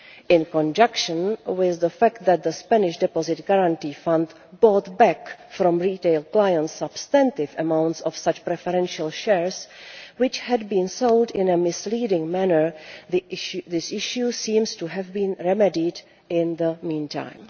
In conjunction with the fact that the Spanish Deposit Guarantee Fund bought back from retail clients substantial amounts of such preferential shares, which had been sold in a misleading manner, this issue seems to have been remedied in the meantime.